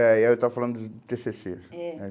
É, aí eu estava falando do tê cê cê. É. Né?